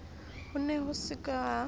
ho ne ho se ka